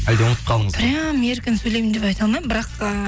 әлде ұмытып қалдыңыз прям еркін сөйлеймін деп айта алмаймын бірақ ыыы